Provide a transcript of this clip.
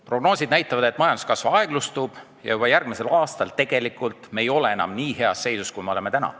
Prognoosid näitavad, et majanduskasv aeglustub ja juba järgmisel aastal me ei ole enam nii heas seisus, kui oleme täna.